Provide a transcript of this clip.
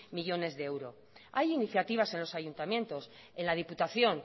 millónes de euros hay iniciativas en los ayuntamientos en la diputación